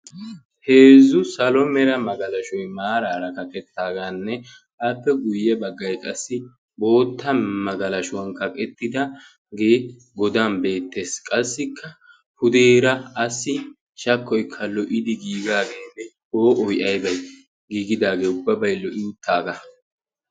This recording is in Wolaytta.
heezzu salo mera magalashoy maaraara kaqettaagaanne appe guyye baggay qassi bootta magalashuwan kaqettidaagee godan beettees. qassikka pudeera assi shakkoykka lo77idi giigaageenne poo7oy aybay giigidaagee ubbabay lo77i uttaagaa.